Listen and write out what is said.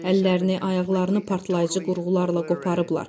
Əllərini, ayaqlarını partlayıcı qurğularla qoparıblar.